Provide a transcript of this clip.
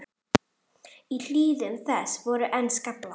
Í hlíðum þess voru enn skaflar.